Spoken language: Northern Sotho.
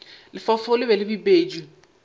lefaufau le be le bipetšwe